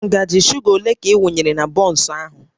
Ngaji shuga ole ka ị wunyere na bọnsụ ahụ?